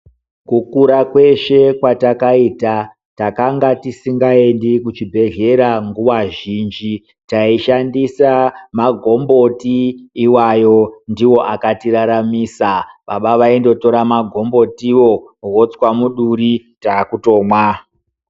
Kukura kweshe kwaakaita, takanga tisingaendi kuchibhedhlera nguwa zhinji. Taishandisa magomboti iwayo, ndiwo akatiraramisa. Baba vaindotora magombotiwo, votswa muduri, taakutomwa.